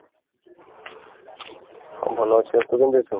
ଭଲ ଅଛି ତୁ କେମିତି ଅଛୁ ?